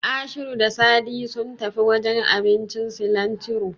Ashiru da Sadi sun tafi wajen abincin Silantiro.